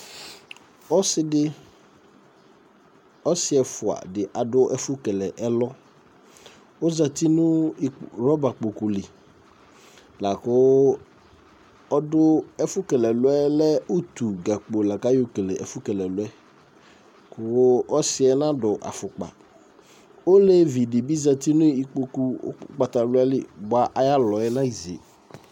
ɔsidi ɔsi ɛfua di adu ɛfu kélé ɛlɔ, ɔzati nu rɔba kpokpu li Laku ɔdu ɛfu kélé ɛlɔɛ ɔlɛ utu gakpo laku ayɔ kélé ɛfu kele ɛluɛ Ɔsiɛ nadu afukpa Olevi dibi zatinu ikpokou ugbata wlali bɔa, ayalɔɛ neze